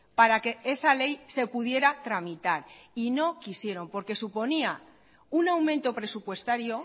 para que esa ley se pudiera tramitar y no quisieron porque suponía un aumento presupuestario